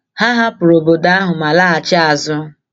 Ha hapụrụ obodo ahụ ma laghachi azụ.